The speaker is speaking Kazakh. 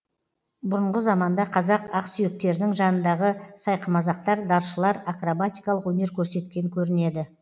бұрынғы заманда қазақ ақсүйектерінің жанындағы сайқымазақтар даршылар акробатикалық өнер көрсеткен көрінеді